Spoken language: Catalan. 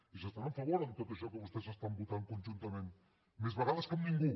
ells estan a favor de tot això que vostès estan votant conjuntament més vegades que amb ningú